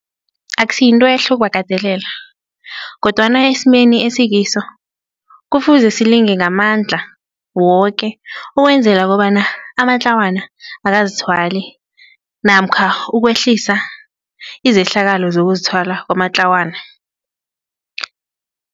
Akusiyintwehle ukubakatelela kodwana esimeni esikiso kufuze silinge ngamandla woke ukwenzela kobana amatlawana akazithwali namkha ukwehlisa izehlakalo zokuzithwala kwamatlawana.